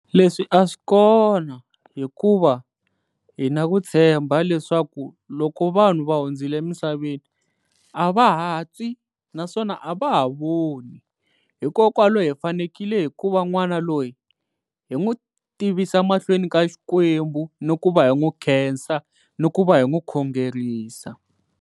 Leswi a swi kona hikuva hi na ku tshemba leswaku loko vanhu va hundzile emisaveni, a va ha twi naswona a va ha voni. Hikokwalaho hi fanekele hikuva n'wana loyi hi n'wi tivisa mahlweni ka Xikwembu ni ku va hi n'wi khensa ni ku va hi n'wi khongerisa.